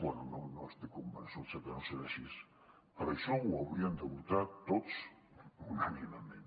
bé no n’estic convençut sé que no serà així per això ho haurien de votar tots unànimement